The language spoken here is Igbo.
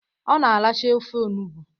Ọ na aracha ofe onugbo.